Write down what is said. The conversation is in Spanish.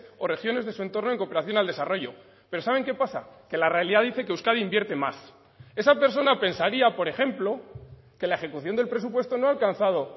o regiones de su entorno en cooperación al desarrollo pero saben que pasa que la realidad dice que euskadi invierte más esa persona pensaría por ejemplo que la ejecución del presupuesto no ha alcanzado